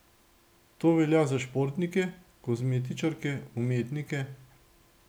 To velja za športnike, kozmetičarke, umetnike ...